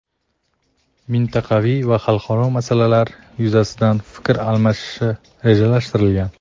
mintaqaviy va xalqaro masalalar yuzasidan fikr almashilishi rejalashtirilgan.